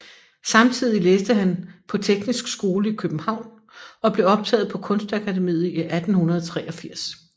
Samtidig læste han på Teknisk Skole i København og blev optaget på Kunstakademiet i 1883